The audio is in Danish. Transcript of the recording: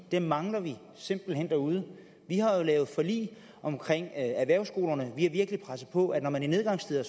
det mangler vi simpelt hen derude vi har jo lavet forlig om erhvervsskolerne og vi har virkelig presset på at man i nedgangstider